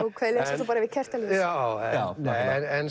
svo bara við kertaljós nei en